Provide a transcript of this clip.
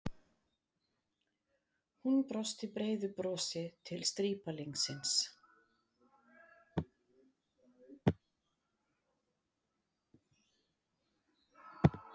Hún brosti breiðu brosi til strípalingsins.